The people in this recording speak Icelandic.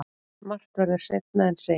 Margt verður seinna en segir.